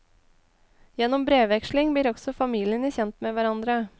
Gjennom brevveksling blir også familiene kjent med hverandre.